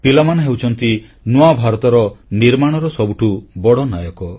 ପିଲାମାନେ ହେଉଛନ୍ତି ନୂଆ ଭାରତର ନିର୍ମାଣର ସବୁଠୁ ବଡ଼ ନାୟକ